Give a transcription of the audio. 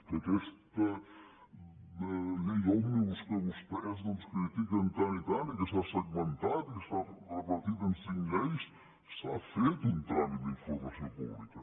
que en aquesta llei òmnibus que vostès doncs critiquen tant i tant i que s’ha segmentat i que s’ha repartit en cinc lleis s’ha fet un tràmit d’informació pública